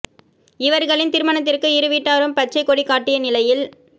இவர்களின் திருமணத்திற்கு இரு வீட்டாரும் பச்சைக் கொடி காட்டிய நிலையில்